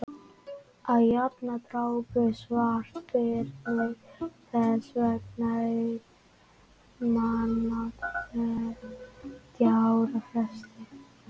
að jafnaði drápu svartbirnir þess vegna einn mann á tveggja ára fresti